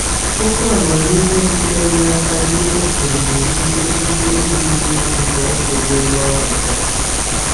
Okwu amamihe sitere n’aka ndị okenye nwere ike ike iduzi nzọụkwụ gị n’ọnọdụ a.